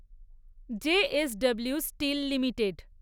J. S. W steel limited